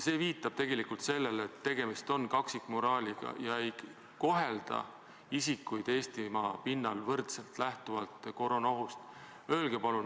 See viitab sellele, et tegemist on kaksikmoraaliga, isikuid Eestimaa pinnal ei kohelda lähtuvalt koroonaohust võrdselt.